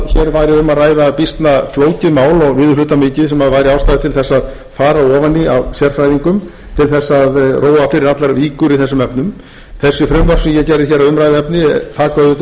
væri um að ræða býsna flókið mál og viðurhlutamikið sem væri ástæða til þess að fara ofan í af sérfræðingum til þess að róa fyrir allar víkur í þessum efnum þessi frumvörp sem ég geri hér að umræðuefni taka auðvitað ekki til nema